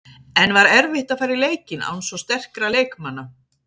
En var erfitt að fara í leikinn án svo sterkra leikmanna?